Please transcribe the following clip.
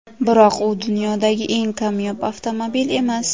Biroq u dunyodagi eng kamyob avtomobil emas.